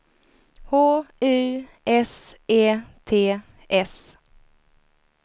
H U S E T S